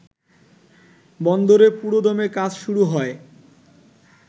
বন্দরে পুরোদমে কাজ শুরু হয়